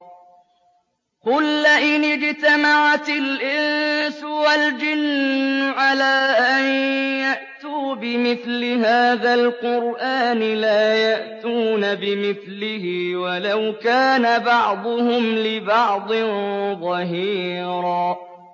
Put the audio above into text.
قُل لَّئِنِ اجْتَمَعَتِ الْإِنسُ وَالْجِنُّ عَلَىٰ أَن يَأْتُوا بِمِثْلِ هَٰذَا الْقُرْآنِ لَا يَأْتُونَ بِمِثْلِهِ وَلَوْ كَانَ بَعْضُهُمْ لِبَعْضٍ ظَهِيرًا